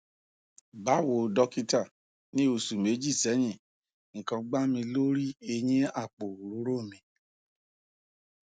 bawo dokita ni osu meji sehin ikan gba mi lori eyin apo orooro mi